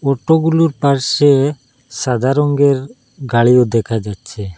Auto গুলোর পাশে সাদা রঙ্গের গাড়িও দেখা যাচ্ছে।